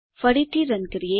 ફરીથી રન કરીએ